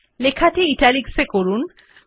লেখাটি Italics এ করুন